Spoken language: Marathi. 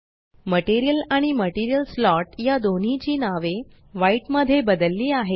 मटेरियल आणि मटेरियल स्लॉट या दोन्हीची नावे व्हाईट मध्ये बदलली आहे